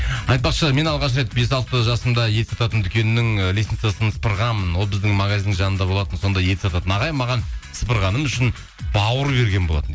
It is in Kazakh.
айтпақшы мен алғаш рет бес алты жасымда ет сататын дүкеннің і лесницасын сыпырғанмын ол біздің магазиннің жанында болатын сонда ет сататын ағай маған сыпырғаным үшін бауыр берген болатын